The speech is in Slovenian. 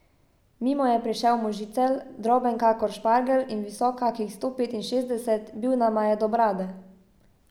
Mimo je prišel možicelj, droben kakor špargelj in visok kakih sto petinšestdeset, bil nama je do brade.